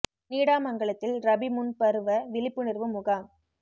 நீடாமங்கலத்தில் ரபி முன் பருவ விழிப்புணர்வு முகாம்